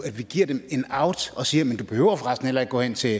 giver dem en out og siger jamen du behøver for resten heller ikke gå hen til